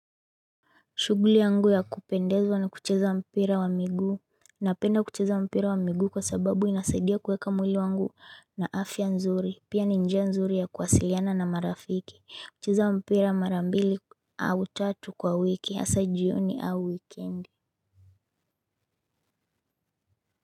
Shughuli yangu ya kupendezwa na kucheza mpira wa miguu napenda kucheza mpira wa miguu kwasababu inasaidia kuweka mwili wangu na afya nzuri pia ni njia nzuri ya kuwasiliana na marafiki kucheza mpira mara mbili au tatu kwa wiki hasa jioni au wikendi.